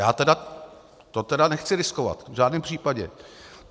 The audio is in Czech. Já to tedy nechci riskovat v žádném případě.